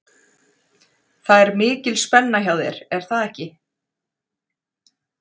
Það er mikil spenna hjá þér er það ekki?